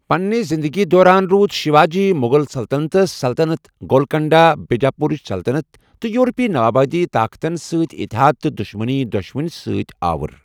پنِنہِ زِندگی دوران روٗد شیواجی مُغل سَلطنتس، سلطنت گولکنڈہ، بیجاپوٗرٕچ سلطنت تہٕ یورپی نَوآبادِیٲتی طاقتن سۭتۍ اتحاد تہٕ دُشمنی دۄشونی سۭتۍ آوُر۔